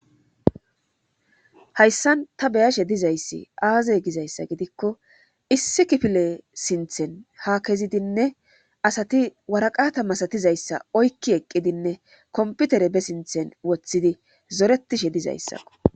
hayssan ta beyashe dizayssi aaze gizayssa gidikko issi kifile sinthen ha kezidinne asati waraqata masatizayssa oykki eqqidinne komputere be sinthen woththidi zoretishe dizayssakko